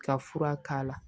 Ka fura k'a la